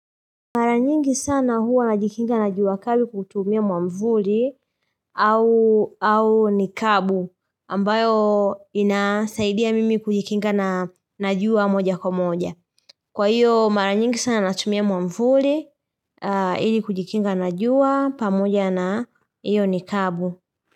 Mara nyingi sana huwa najikinga na jua kali kuutumia mwamvuli au nikabu ambayo inasaidia mimi kujikinga na jua moja kwa moja. Kwa hiyo mara nyingi sana natumia mwamvuli, ili kujikinga na jua pamoja na hiyo nikabu.